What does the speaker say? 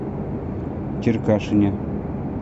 черкашине